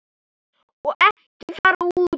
Og ekki fara út.